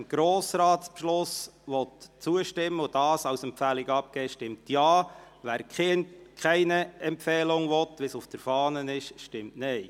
Wer dem Grossratsbeschluss zustimmen und diesen als Empfehlung abgeben will, stimmt Ja, wer, wie auf der Fahne vorgeschlagen, keine Empfehlung abgeben will, stimmt Nein.